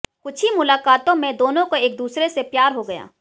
कुछ ही मुलाकातों में दोनों को एक दूसरे से प्यार हो गया